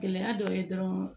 Gɛlɛya dɔ ye dɔrɔn